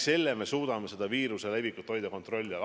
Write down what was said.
Sellega me suudame viiruse levikut hoida kontrolli all.